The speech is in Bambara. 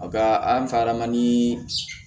A bɛ an fɛ an ka nii